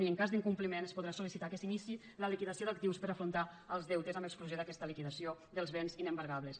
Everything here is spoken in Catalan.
i en cas d’incompliment es podrà sol·licitar que s’iniciï la liquidació d’actius per a afrontar els deutes amb exclusió d’aquesta liquidació dels béns inembargables